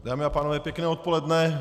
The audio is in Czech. Dámy a pánové, pěkné odpoledne.